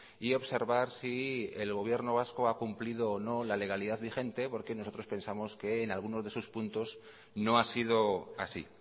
y observar si el gobierno vasco ha cumplido o no la legalidad vigente porque nosotros pensamos que en algunos de sus puntos no ha sido así